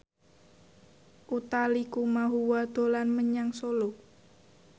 Utha Likumahua dolan menyang Solo